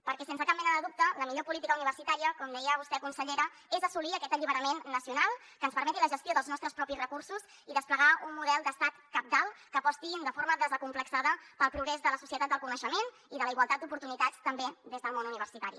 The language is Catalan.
perquè sense cap mena de dubte la millor política universitària com deia vostè consellera és assolir aquest alliberament nacional que ens permeti la gestió dels nostres propis recursos i desplegar un model d’estat cabdal que aposti de forma desacomplexada pel progrés de la societat del coneixement i de la igualtat d’oportunitats també des del món universitari